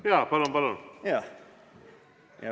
Jaa, palun, palun!